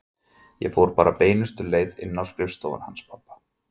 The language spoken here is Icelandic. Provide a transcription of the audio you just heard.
Ég fór bara beinustu leið inn í skrifstofuna hans pabba.